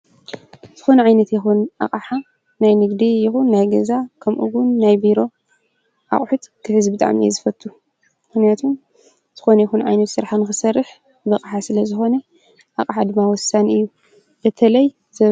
ዝኮነ ዓይነት ይኩን ኣቅሓ ናይ ንግዲ ይኩን ናይ ገዛ ከምኡ ዉን ናይ ቢሮ ኣቁሑት ክሕዝ ብጣዕሚ እየ ዝፈቱ ምክንያቱም ዝኮነ ይኩን ዓይነት ሰራሕ ንክትሰርሕ ብኣቅሓ ስለዝኮነ ኣቅሓ ድማ ወሳኒ እዩ በተለይ።